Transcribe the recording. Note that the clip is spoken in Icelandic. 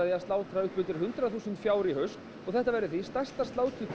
slátra upp undir hundrað þúsund fjár í haust og að þetta verði stærsta sláturtíð